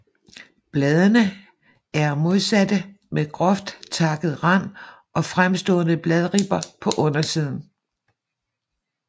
Bladene er modsatte med groft takket rand og fremstående bladribber på undersiden